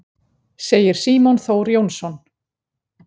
Segir Símon Þór Jónsson.